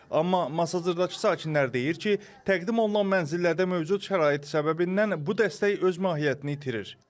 Amma Masazırdakı sakinlər deyir ki, təqdim olunan mənzillərdə mövcud şərait səbəbindən bu dəstək öz mahiyyətini itirir.